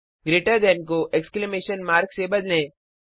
greater than को exclamation mark से बदलें